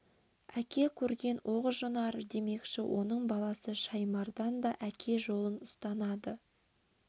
әке көрген оқ жонар демекші оның баласы шаймардан да әке жолын ұстанады